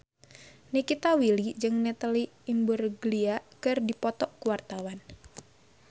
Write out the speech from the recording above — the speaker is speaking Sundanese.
Nikita Willy jeung Natalie Imbruglia keur dipoto ku wartawan